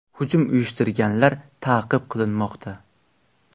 Hujum uyushtirganlar ta’qib qilinmoqda.